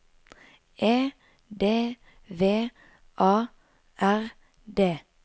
E D V A R D